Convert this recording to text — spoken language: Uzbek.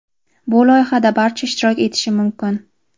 bu loyihada barcha ishtirok etishi mumkin.